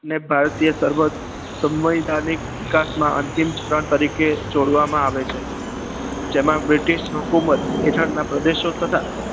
ને ભારતીય સર્વોચ્ચ વિકાસમાં અંતિમ ક્ષણ તરીકે જોડવામાં આવે છે જેમાં british હુકુમત હેઠળના પ્રદેશો તથા